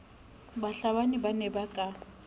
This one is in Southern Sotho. bahlabani ba ne ba ka